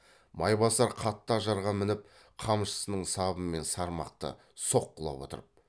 майбасар қатты ажарға мініп қамшысының сабымен сырмақты соққылап отырып